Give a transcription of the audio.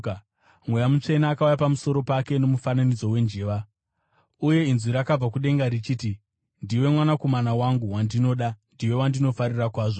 Mweya Mutsvene akauya pamusoro pake nomufananidzo wenjiva. Uye inzwi rakabva kudenga richiti, “Ndiwe mwanakomana wangu, wandinoda; ndiwe wandinofarira kwazvo.”